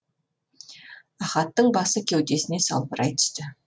ахаттың басы кеудесіне салбырай түсті